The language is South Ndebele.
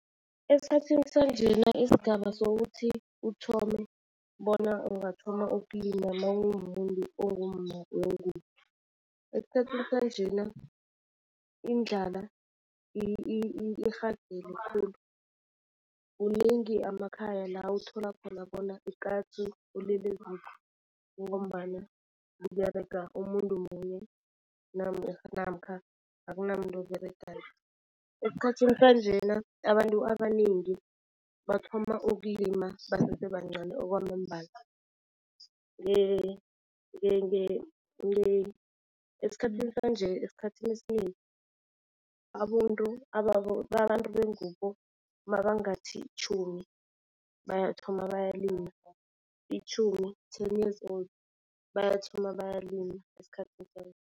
Esikhathini sanjena isigaba sokuthi uthome bona ungathoma ukulima mawumumuntu ongumma wengubo. Esikhathini sanjena indlala irhagele khulu. Kuningi amakhaya la uthola khona bona ukatsu ulele eziko kungombana kUberega umuntu munye namkha akunamuntu oberegako. Esikhathini sanjena abantu abanengi bathoma ukulima basese bancani okwamambala. Esikhathini sanje, esikhathini esinengi abantu abantu bengubo mabangathi tjhumi bayathoma balila. Itjhumi ten years old bayathoma bayalila esikhathini sanje.